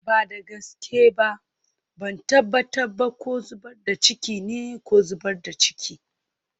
Ba da gaske ba, ban tabbata ba ko zubar da ciki ne ko zubar da ciki.